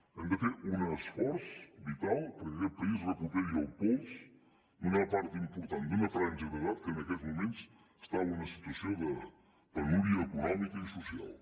hem de fer un esforç vital perquè aquest país recuperi el pols d’una part important d’una franja d’edat que en aquests moments està en una situació de penúria econòmica i social